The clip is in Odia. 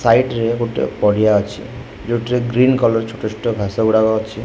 ସାଇଡି ରେ ଗୋଟେ ପଡ଼ିଆ ଅଛି ଯୋଉଥିରେ ଗ୍ରୀନ କଲର୍ ଛୋଟ ଛୋଟ ଘାସ ଗୁଡାକ ଅଛି।